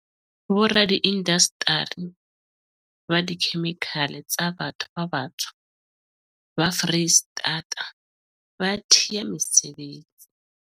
Boradiindasteri ba dikhemikhale ba batho ba batsho ba Freistata ba thea mesebetsi